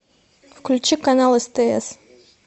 включи канал стс